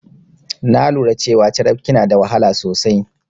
Na lura cewa carafke na da wahala sosai.